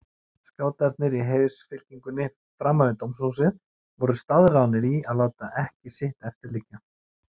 Skátarnir í heiðursfylkingunni framan við dómshúsið voru staðráðnir í að láta ekki sitt eftir liggja.